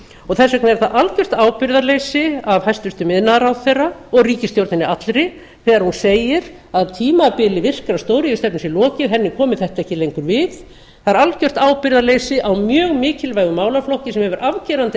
og þess vegna er það algert ábyrgðarleysi af hæstvirtur iðnaðarráðherra og ríkisstjórninni allri þegar hún segir að tímabili virkrar stóriðjustefnu sé lokið henni komi þetta ekki lengur við það er algert ábyrgðarleysi á mjög mikilvægum málaflokki sem hefur afgerandi